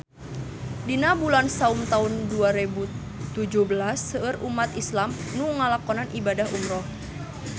Dina bulan Saum taun dua rebu tujuh belas seueur umat islam nu ngalakonan ibadah umrah